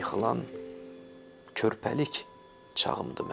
Yıxılan körpəlik çağımdır mənim.